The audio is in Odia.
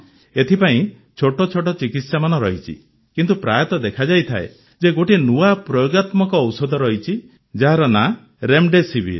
ଏଥିପାଇଁ ଛୋଟ ଛୋଟ ଚିକିତ୍ସାମାନ ରହିଛି କିନ୍ତୁ ପ୍ରାୟତଃ ଦେଖାଯାଇଥାଏ ଯେ ଗୋଟିଏ ନୂଆ ପ୍ରୟୋଗାତ୍ମକ ଔଷଧ ରହିଛି ଯାହାର ନାଁ ରେମ୍ଡେସିଭିର୍